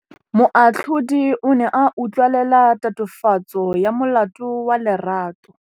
Moatlhodi o ne a utlwelela tatofatsô ya molato wa Lerato.